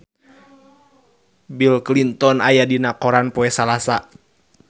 Bill Clinton aya dina koran poe Salasa